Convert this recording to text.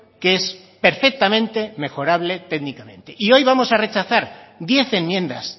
que es perfectamente mejorable técnicamente y hoy vamos a retrasar diez enmiendas